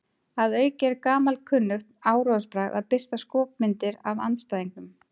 Að auki er gamalkunnugt áróðursbragð að birta skopmyndir af andstæðingnum.